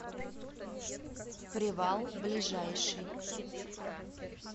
привал ближайший